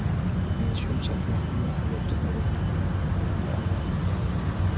Men shunchaki, hammasiga tupurib, ularning pulini ololmayman.